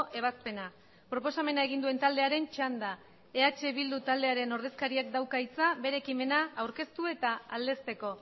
ebazpena proposamena egin duen taldearen txanda eh bildu taldearen ordezkariak dauka hitza bere ekimena aurkeztu eta aldezteko